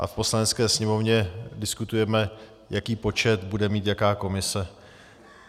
A v Poslanecké sněmovně diskutujeme, jaký počet bude mít jaká komise.